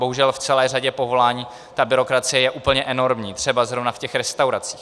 Bohužel v celé řadě povolání ta byrokracie je úplně enormní, třeba zrovna v těch restauracích.